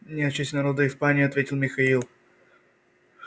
нет в честь народа в испании ответил михаил